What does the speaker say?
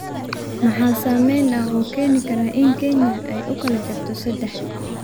maxaa saameyn ah oo keeni kara in Kenya ay u kala jabto saddex